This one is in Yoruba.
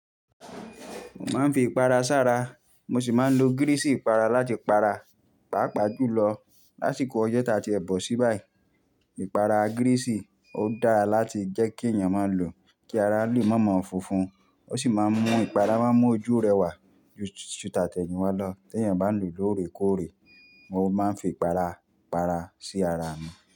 Mo máa ń fi ìpara ṣára, mo sì máa ń lo gíriṣì ìpara láti para, pàápàá jùlọ lásìkò oye ta tiebọ si bayi Ìpara gíriṣì ò dára láti jẹ́ kí èèyàn máa lò kí ara lè má ma funfun, ó sì máa ń mú ìpara má mú ojú rẹwà ju tàtẹ̀yìnwá lọ tí èèyàn bá lò lóore kóòrè. Mo máa ń fi ìpara para sí ara mi.